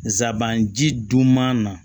Nsaban ji duman na